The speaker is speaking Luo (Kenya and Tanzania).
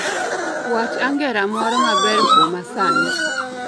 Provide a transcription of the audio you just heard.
Wach angera moro maber kuoma sani